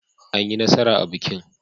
Anyi nasara a bikin.